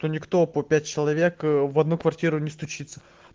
то никто по пять человек в одну квартиру не стучится